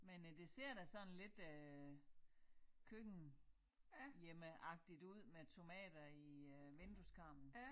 Men øh det ser da sådan lidt øh køkken hjemmeagtigt ud med tomater i øh vindueskarmen